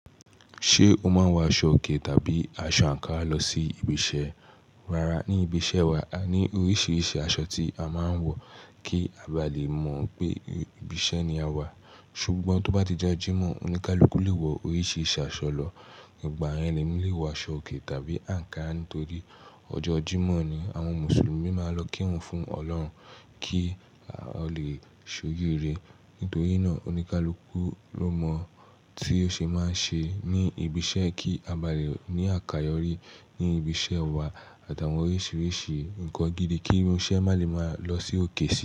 Ṣé o máa ń wọ aṣọòkè tàbí aṣọ àńkára lọ sí ibi iṣẹ́? Rárá, ní ibi iṣẹ́ wa, a ní oríṣiríṣi aṣọ tí a máa ń wọ kí a bá lè mọ̀ pé ibi iṣẹ́ ni a wà. Ṣùgbọ́n tó bá ti já Jímọ̀, oníkálukú lè wọ oríṣiríṣi aṣọ lọ, ìgbà yen lè mi lé wọ aṣọòkè tàbí àńkára nítorí ọjọ́ Jímọ̀ ni àwọn Mùsùlùmí máa ń lọ kírun fún Ọlọ́run kí ó lè ṣojú ire. Nítorí náà oníkálukú ló mọ̀ tí ó ṣe máa ń ṣe ní ibi iṣẹ́ kí a bá lè ní àkàyọ́ rí ní ibi iṣẹ́ wa àtàwọn oríṣiríṣi ǹkan gidi kí irinṣẹ́ má lè máa lọ sí òkè sì.